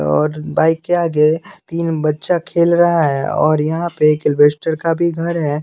और बाइक के आगे तीन बच्चा खेल रहा है और यहां पे एक इलवेस्टर का भी घर है।